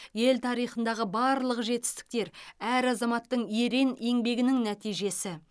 ел тарихындағы барлық жетістіктер әр азаматтың ерен еңбегінің нәтижесі